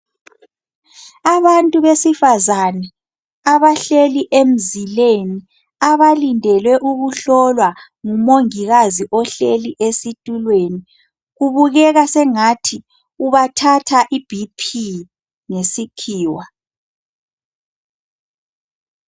Abantu besifazane abahleli emzileni abalindele ukuhlolwa ngumongikazi ohleli esitulweni kubukeka sengathi ubathatha i bp ngesikhiwa .